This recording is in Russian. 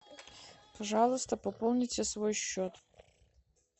пожалуйста пополните свой счет